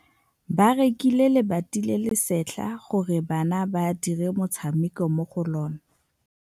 Ba rekile lebati le le setlha gore bana ba dire motshameko mo go lona.